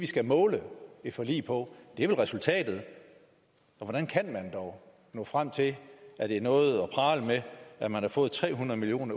skal måle et forlig på er vel resultatet og hvordan kan man dog nå frem til at det er noget at prale med at man har fået tre hundrede million